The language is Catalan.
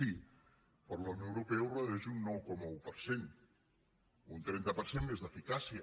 sí però la unió europea ho redueix un nou coma un per cent un trenta per cent més d’eficàcia